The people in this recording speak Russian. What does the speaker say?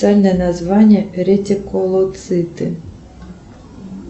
официальное название ретикулоциты